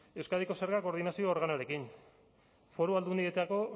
euskadiko zerga koordinazio organoarekin foru aldundietako